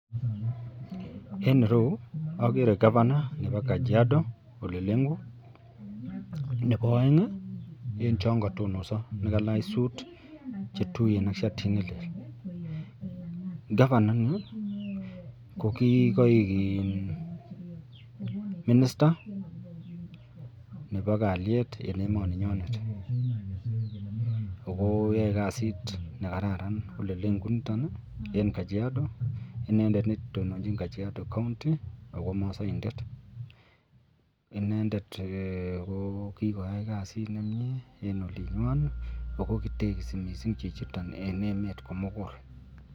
En ireyu agere govana Nebo Kajiado olelengu Nebo aeng en chon katonosi kokalach sut chetuiyen ak shatit nelel gavana ini kokikaik minista neba kalyet en emoni nenyinet akoyae kasit akokararan kasit en Kajiado inendet netononjin Kajiado county akomasaindet inendet jokikoyai kasit nemie en olinywanbakokitekisi Chichi en olinywan.